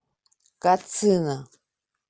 кацина